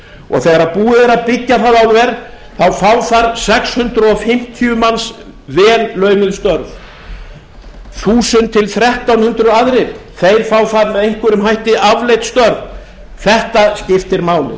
og þegar búið er að byggja það álver þá fá þar sex hundruð fimmtíu manns vel launuð störf þúsund til þrettán hundruð aðrir fá þar með einhverjum hætti afleidd störf þetta skiptir máli